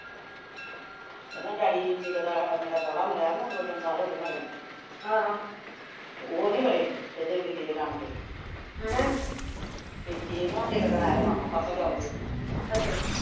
ਇਹਨਾਂ ਦਾ ਡੈਡੀ ਜਦੋਂ ਦਾ ਸਾਡਾ ਮੇਰਾ ਸੋਹਰਾ ਮਰਿਆ ਵਾ ਦੋ ਤਿੰਨ ਸਾਲ ਹੋਗਏ ਤੇ ਉਹ ਨੀ ਵੜੇ ਇਹਦੇ ਬਿਲੇ ਦੇ ਨਾਨਕੇ ਤੇ ਏਹ ਨਾ ਇੱਕ ਦਿਨ ਆਇਆ ਮਾਮਾ ਪਰਸੋਂ ਚੋਥ ਜਹੇ